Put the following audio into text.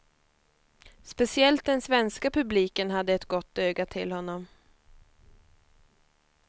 Speciellt den svenska publiken hade ett gott öga till honom.